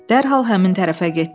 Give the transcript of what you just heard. Dərhal həmin tərəfə getdilər.